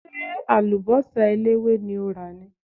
Ṣé àlùbọ́sà eléwé ni o rà ni?